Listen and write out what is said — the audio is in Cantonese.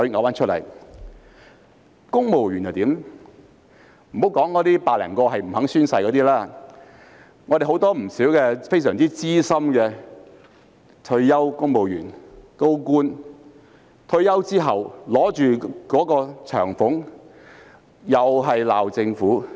莫說那100多個不願宣誓的公務員，很多非常資深的退休公務員、高官在退休後都一邊領取長俸，一邊責罵政府。